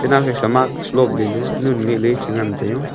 e nawsa sa mask lob leley nun ngeh ley chengan taio.